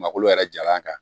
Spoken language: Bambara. Malo yɛrɛ jalan kan